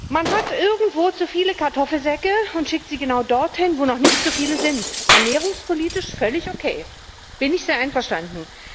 Man hat irgendwo zu viele Kartoffelsäcke und schickt sie genau dorthin, wo noch nicht so viele sind ernährungspolitisch völlig okay, damit bin ich sehr einverstanden.